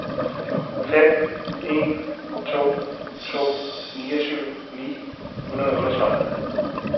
fem en to to niogtyve ni hundrede og otteogtredive